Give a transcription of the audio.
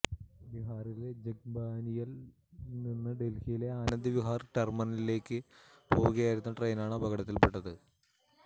ബിഹാറിലെ ജോഗ്ബാനിയില് നിന്ന് ഡല്ഹിയിലെ ആനന്ദ് വിഹാര് ടെര്മിനലിലേയ്ക്ക് പോവുകയായിരുന്ന ട്രെയിനാണ് അപകടത്തില് പെട്ടത്